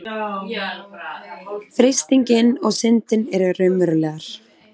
freistingin og syndin eru raunverulegar